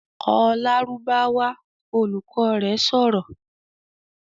"Kọ Lárúbáwá!", Olùkọ́ rẹ̀ sọ̀rọ̀